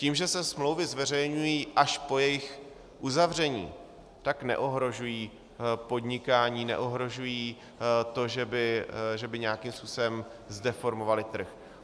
Tím, že se smlouvy zveřejňují až po jejich uzavření, tak neohrožují podnikání, neohrožují to, že by nějakým způsobem zdeformovaly trh.